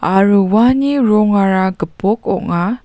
aro uani rongara gipok ong·a.